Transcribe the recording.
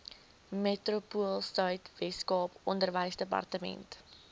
metropoolsuid weskaap onderwysdepartement